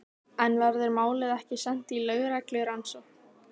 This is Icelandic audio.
En verður málið ekki sent í lögreglurannsókn?